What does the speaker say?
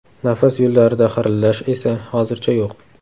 Nafas yo‘llarida xirillash esa hozircha yo‘q.